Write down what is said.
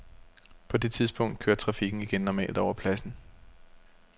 På det tidspunkt kørte trafikken igen normalt over pladsen.